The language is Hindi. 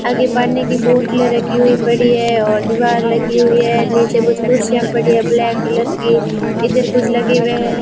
आगे पानी की बोतलें रखी हुई पड़ी है और दीवार लगी हुई है नीचे कुछ कुर्सियां पड़ी हैं ब्लैक कलर की इधर कुछ लगे हुए हैं।